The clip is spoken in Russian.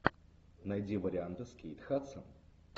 найди варианты с кейт хадсон